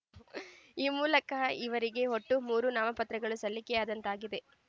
ಈ ಮೂಲಕ ಈವರಿಗೆ ಒಟ್ಟು ಮೂರು ನಾಮಪತ್ರಗಳು ಸಲ್ಲಿಕೆಯಾದಂತಾಗಿದೆ